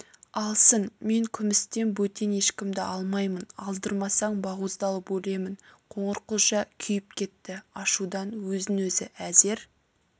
алсын мен күмістен бөтен ешкімді алмаймын алдырмасаң бауыздалып өлемін қоңырқұлжа күйіп кетті ашудан өзін өзі әзер